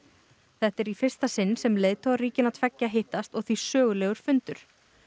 þetta er í fyrsta sinn sem leiðtogar ríkjanna tveggja hittast og því sögulegur fundur